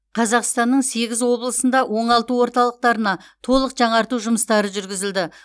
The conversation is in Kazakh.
қазақстанның сегіз облысында оңалту орталықтарына толық жаңарту жұмыстары жүргізілді